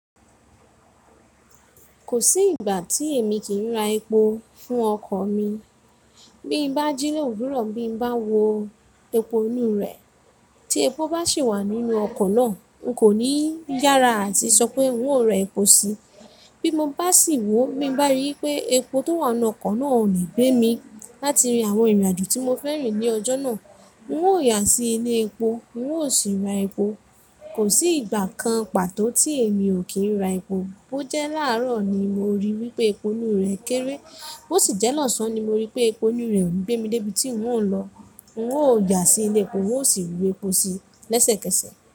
Kò sí ìgbà tí èmi kì í ra epo fún ọkọ̀ mi. Bí mo bá jílẹ̀ ò wúró, bí mo bá wo epo inú rẹ̀ tí epo bá sì wà nínú ọkọ̀ náà, n kò ní yára àti sọ pé n ó ra epo si. Bí mo bá sì wò ó bí mo bá rí i pé epo tó wà nínú ọkọ̀ náà ò lè gbé mi láti rìn àwọn ìrìnàjò tí mo fẹ́ rìn ní ọjọ́ náà, n ó yà sí ilé epo, n ó sì ra epo. Kò sí ìgbà kan pàtó tí èmi ò kí ra epo. Bó jẹ́ làárọ̀ ni mo ríi wípé epo inú rẹ̀ kéré, bó sì jẹ́ lọ́sàn ni mo ríi pé epo inú rẹ̀ ò gbé mi dé ibi tí n ó ń lọ, n ó yà sí ilé epo, n ó sì rí epo si lẹ́sẹ̀kẹsẹ̀.